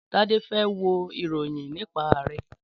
Tádé fe wo ìròyìn nípa Ààrẹ